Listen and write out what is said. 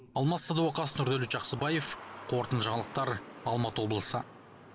алмас садуақас нұрдәулет жақсыбаев қорытынды жаңалықтар алматы облысы